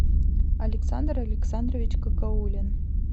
александр александрович какаулин